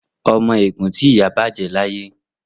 Omo egun ti iya baje laye.